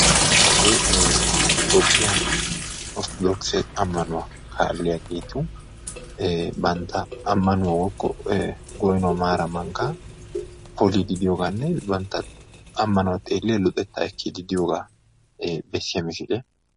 Hagee toophphiyaa orttoodokise ammanuwaa kaalliyaagetu ee bantta amaanauwa woykko goynuwaa maaraa mankkaa poliidi de'iyooganne banntta ammanuwaa xeelliyaa luxettaa ekkiidi de'iyoogaa bessiyaa misiliyaa.